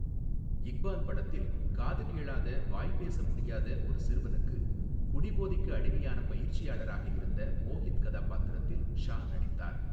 இக்பால் படத்தில் காது கேளாத, வாய் பேச முடியாத ஒரு சிறுவனுக்கு குடிபோதைக்கு அடிமையானப் பயிற்சியாளராக இருந்த மோகித் கதாபாத்திரத்தில் ஷா நடித்தார்.